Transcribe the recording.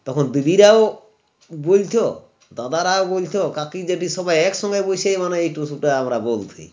তখন দিদিরাও বুলতো দাদারাও বুলতো কাকি জেঠি সবাই একসঙ্গে বসেই মনে হয় এই টুসুটা আমরা বলছি